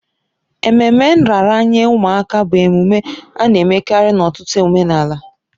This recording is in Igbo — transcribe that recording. Ememe nraranye ụmụaka bụ emume a na-emekarị n'ọtụtụ omenala.